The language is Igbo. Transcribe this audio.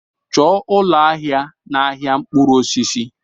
Chọọ ụlọ ahịa n'ahịa mkpụrụ osisi!